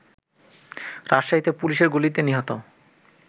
রাজশাহীতে পুলিশের গুলিতে নিহত